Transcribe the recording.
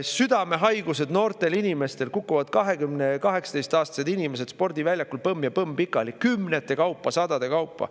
Südamehaigused noortel inimestel: 18- ja 20-aastased kukuvad spordiväljakul põmm ja põmm pikali, kümnete kaupa, sadade kaupa.